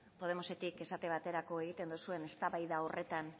podemosetik esate baterako egiten duzuen eztabaida horretan